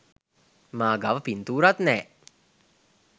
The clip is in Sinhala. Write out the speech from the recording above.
මා ගාව පින්තූරත් නෑ